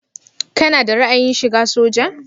Kana da ra'ayin shiga soja?